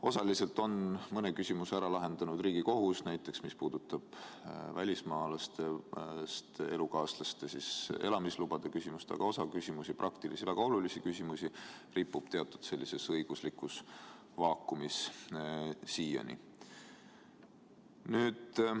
Osaliselt on mõne küsimuse ära lahendanud Riigikohus – näiteks, mis puudutab välismaalastest elukaaslaste elamislubade küsimust –, aga osa väga olulisi praktilisi küsimusi ripub teatud õiguslikus vaakumis siiani.